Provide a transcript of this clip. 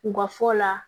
U ka fɔ la